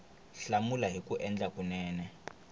hlamula hi ku endla kunene